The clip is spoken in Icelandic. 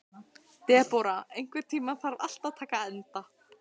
Debóra, einhvern tímann þarf allt að taka enda.